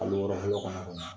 An oranzi ko fana kun na.